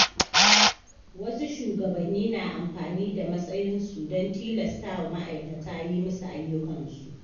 Wasu shugabanni na amfani da matsayinsu don tilastawa ma’aikata yi musu ayyukansu.